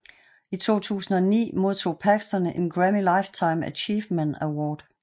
I 2009 modtog Paxton en Grammy Lifetime Achievement Award